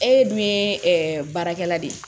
E dun ye baarakɛla de ye